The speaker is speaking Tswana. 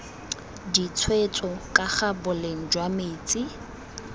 ditshwetso kaga boleng jwa metsi